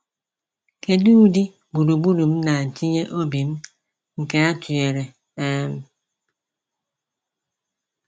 Kedu ụdị gburugburu m na-etinye obi m nke atụnyere? um